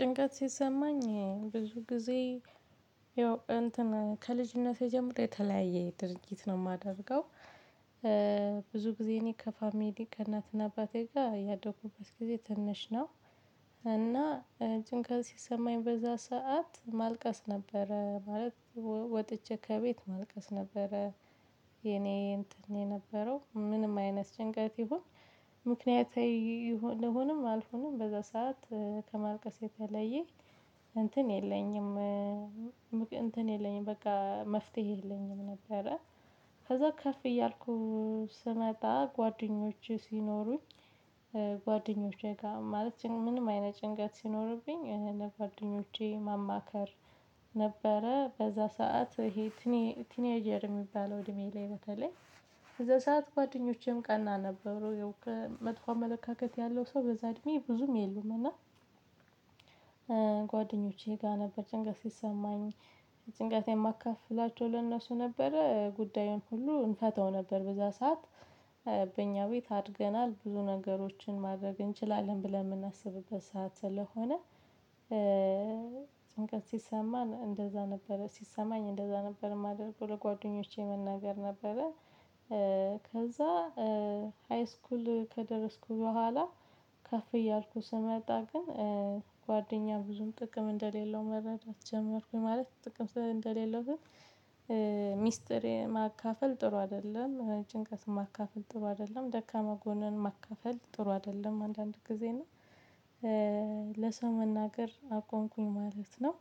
ጭንቀት ሲሰማኝ ብዙ ጊዜ ያው እንትን ከልጅነቴ ጀምሬ የተለያየ ድርጊት ነው የማደርገው። ብዙ ጊዜ እኔ ከፋሚሊ ከእናትና አባቴ ጋር ያደኩበት ጊዜ ትንሽ ነው። እና ጭንቀት ሲሰማኝ በዛ ሰዓት ማልቀስ ነበረ ማለት ወጥቼ ከቤት ማልቀስ ነበረ። የኔ እንትን የነበረው ምንም አይነት ጭንቀት ይሁን። ምክንያታዊ ልሁንም አልሁንም በዛ ሰዓት ከማልቀስ የተለየ እንትን የለኝም እንትን የለኝም በቃ መፍትሄ የለኝም ነበረ። ከዛ ከፍ እያልኩ ስመጣ ጓደኞቼ ሲኖሩኝ። ጓደኞቼ ጋር ማለት ምንም አይነት ጭንቀት ሲኖርብኝ ይሄን ጓደኞቼን ማማከር። ነበረ በዛ ሰዓት ይሄ ትኔ ትኔጀር የሚባለው እድሜ ላይ በተለይ በዛ ሰዓት ጓደኞቼም ቀና ነበሩ። መጥፎ አመለካከት ያለው ሰው በዛ እድሜ ብዙም የሉም። እና ጓደኞቼ ጋር ነበር ጭንቀት ሲሰማኝ ጭንቀት የማካፍላቸው ለእነሱ ነበረ ጉዳዩን ሁሉ እንፈተው ነበር በዛ ሰዓት። በእኛ ቤት አድገናል ብዙ ነገሮችን ማድረግ እንችላለን ብለን የምናስብበት ሰዓት ስለሆነ። ጭንቀት ሰማን እንደዛ ነበረ ሲሰማኝ እንደዛ ነበረ ማለት ነው ለጓደኞቼ መናገር ነበረ። ከዛ ሃይስኩል ከደረስኩ በኋላ ከፍ እያልኩ ስመጣ ግን ጓደኛ ብዙም ጥቅም እንደሌለው መረዳት ጀመርኩኝ ማለት ጥቅም ስ እንደሌለው ግን። ሚስጥር ማካፈል ጥሩ አይደለም ጭንቀት ማካፈል ጥሩ አይደለም ደካማ ጎንን ማካፈል ጥሩ አይደለም አንዳንድ ጊዜ እኔ ለሰው መናገር አቆምኩኝ ማለት ነው።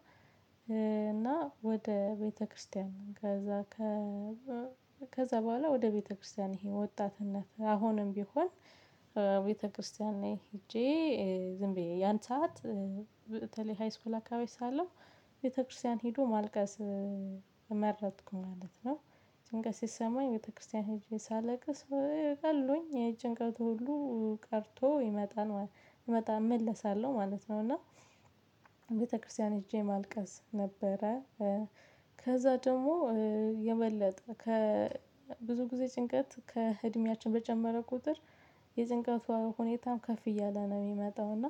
እና ወደ ቤተክርስቲያን ከዛ ከ ከዛ በኋላ ወደ ቤተክርስቲያን ይሄ ወጣትነት አሁንም ቢሆን ቤተክርስቲያን ላይ ሄጄ ዝም ብዬ ያን ሰዓት በተለይ ሃይስኩል አካባቢ ሳለሁ ቤተክርስቲያን ሄዶ ማልቀስ የመረጥኩ ማለት ነው። ጭንቀት ሲሰማኝ ቤተክርስቲያን ሄጄ ሳለቅስ ቀሎኝ ጭንቀቱ ሁሉ ቀርቶ ይመጣል ይመጣል እመለሳለሁ ማለት ነው። እና ቤተክርስቲያን ሄጄ ማልቀስ ነበረ። ከዛ ደግሞ የበለጠ ከብዙ ጊዜ ጭንቀት ከእድሜያችን በጨመረ ቁጥር የጭንቀቷ ሁኔታም ከፍ እያለ ነው የሚመጣው እና።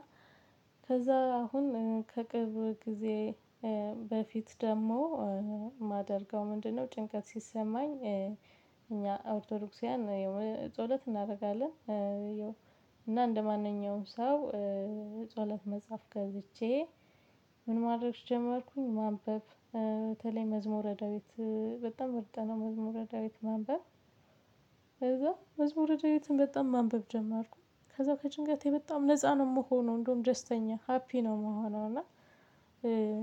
ከዛ አሁን ከቅርብ ጊዜ በፊት ደግሞ የማደርገው ምንድነው? ጭንቀት ሲሰማኝ እኛ ኦርቶዶክሳውያን ጸሎት እናደርጋለን። እና እንደማንኛውም ሰው ጸሎት መጽሐፍ ገዝቼ ምን ማድረግ ጀመርኩኝ ማንበብ በተለይ መዝሙረ ዳዊት በጣም ምርጥ ነው መዝሙረ ዳዊት ማንበብ። ከዛ መዝሙረ ዳዊትን በጣም ማንበብ ጀመርኩኝ ከዛ ከጭንቀት በጣም ነፃ ነው የምሆነው እንደውም ደስተኛ ሃፒ ነው ምሆነው እና።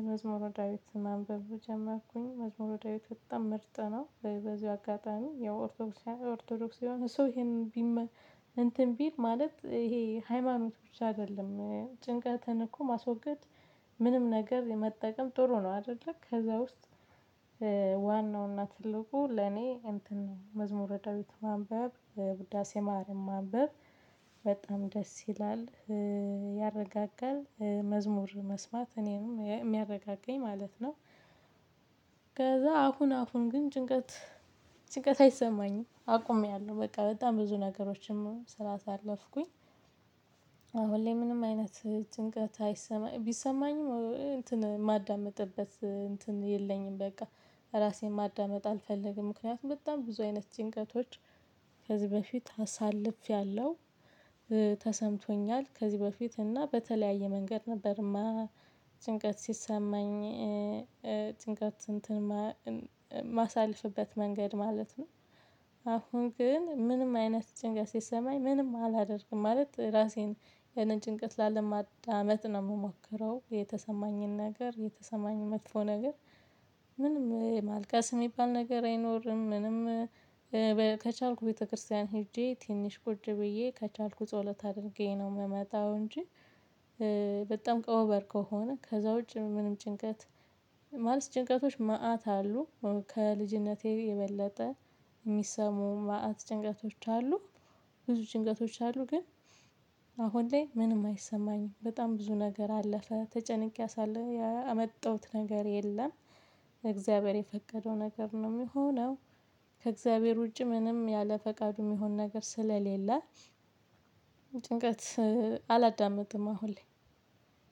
መዝሙረ ዳዊት ማንበብ ጀመርኩኝ መዝሙረ ዳዊት በጣም ምርጥ ነው። በዚሁ አጋጣሚ ያው ኦርቶዶክስ ኦርቶዶክስ የሆነ ሰው ይሄንን ቢመ እንትን ቢል ማለት ይሄ ሃይማኖት ብቻ አይደለም ጭንቀትን እኮ ማስወገድ ምንም ነገር የመጠቀም ጥሩ ነው አይደለ ከዛ ውስጥ። ዋናውና ትልቁ ለኔ እንትን መዝሙረ ዳዊት ማንበብ ውዳሴ ማርያም ማንበብ በጣም ደስ ይላል። ያረጋጋል መዝሙር መስማት እኔንም የሚያረጋጋኝ ማለት ነው። ከዛ አሁን አሁን ግን ጭንቀት ጭንቀት አይሰማኝም አቁሜያለሁ በቃ በጣም ብዙ ነገሮችንም ስላሳለፍኩኝ። አሁን ላይ ምንም አይነት ጭንቀት አይሰማኝ ቢሰማኝም እንትን የማዳምጥበት እንትን የለኝም በቃ ራሴን ማዳመጥ አልፈልግም ምክንያቱም በጣም ብዙ አይነት ጭንቀቶች ከዚህ በፊት አሳልፌያለሁ። ተሰምቶኛል ከዚህ በፊት እና በተለያየ መንገድ ነበርማ ጭንቀት ሲሰማኝ ጭንቀት እንትን እማሳለፍበት መንገድ ማለት ነው። አሁን ግን ምንም አይነት ጭንቀት ሲሰማኝ ምንም አላደርግም ማለት ራሴን የኔን ጭንቀት ላለማዳመጥ ነው የምሞክረው የተሰማኝን ነገር የተሰማኝን መጥፎ ነገር። ምንም ማልቀስ የሚባል ነገር አይኖርም ምንም ከቻልኩ ቤተክርስቲያን ሄጄ ትንሽ ቁጭ ብዬ ከቻልኩ ጸሎት አድርጌ ነው የምመጣው እንጂ። በጣም ቀሩበል ከሆነ ከዛ ውጪ ምንም ጭንቀት ማለት ጭንቀቶች መአት አሉ ከልጅነቴ የበለጠ የሚሰሙ መአት ጭንቀቶች አሉ። ብዙ ጭንቀቶች አሉ ግን አሁን ላይ ምንም አይሰማኝም በጣም ብዙ ነገር አለፈ ተጨንቄ አሳል ያመጣሁት ነገር የለም። እግዚአብሔር የፈቀደው ነገር ነው የሚሆነው። ከእግዚአብሔር ውጪ ምንም ያለ ፈቃዱ የሚሆን ነገር ስለሌለ። ጭንቀት አላዳመጥም አሁን ላይ።